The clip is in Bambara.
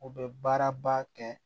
U bɛ baaraba kɛ